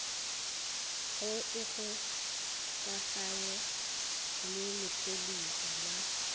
go ikgokaganya le lephodisa la